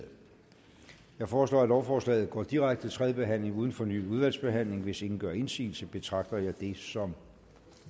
jeg foreslår at lovforslaget går direkte til tredje behandling uden fornyet udvalgsbehandling hvis ingen gør indsigelse betragter jeg det som